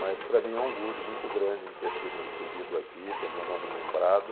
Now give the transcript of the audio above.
Mas para mim é um orgulho muito grande ter sido recebido aqui, ter meu nome lembrado.